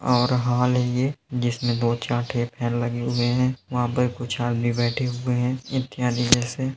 और हाल है। ये जिसमे दो चार ठे फैन लगे हुए है वहाँ पर कुछ आदमी बैठे हुए हैं।